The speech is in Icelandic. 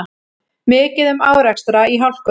Mikið um árekstra í hálkunni